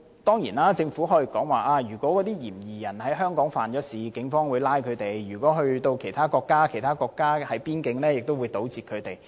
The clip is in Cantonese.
當然，政府可以說，如果嫌疑人在香港犯案，警方會拘捕他；如果他前往其他國家，其他國家會在邊境搗截他。